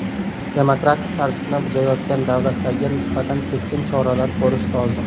Demokratik tartibni buzayotgan davlatlarga nisbatan keskin choralar ko‘rish lozim.